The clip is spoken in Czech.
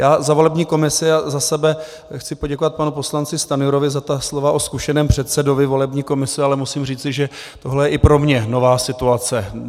Já za volební komisi a za sebe chci poděkovat panu poslanci Stanjurovi za ta slova o zkušeném předsedovi volební komise, ale musím říci, že tohle je i pro mě nová situace.